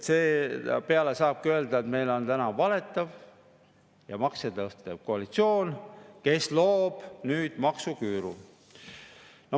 Seepeale saabki öelda, et meil on täna valetav ja makse tõstev koalitsioon, kes loob nüüd maksuküüru.